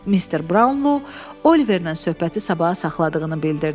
Mister Brownlo Oliverlə söhbəti sabaha saxladığını bildirdi.